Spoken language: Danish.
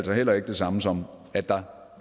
heller ikke det samme som at der